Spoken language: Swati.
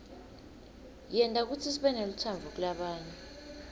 yenta kutsi sibenelutsandvo kulabanye